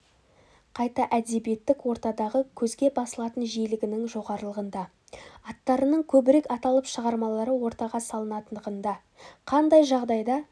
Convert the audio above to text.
қайта әдебиеттік ортадағы көзге басылатын жиілігінің жоғарылығында аттарының көбірек аталып шығармалары ортаға салынатындығында қандай жағдайда